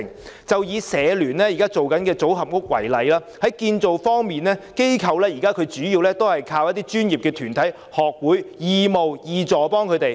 以香港社會服務聯會現時正進行的組合屋為例，在建造方面，機構現時主要靠一些專業團體、學會義務提供協助。